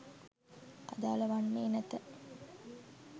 අදාළ වන්නේ නැත